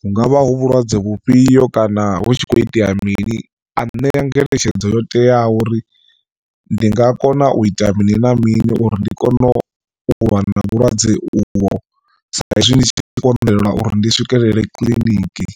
hungavha hu vhulwadze vhufhio kana hu tshi kho itea mini a nṋea ngeletshedzo yo teaho uri ndi nga kona u ita mini na mini uri ndi kone u lwa na vhulwadze uvho sa izwi ndi tshi konḓelwa uri ndi swikelele kiḽiniki.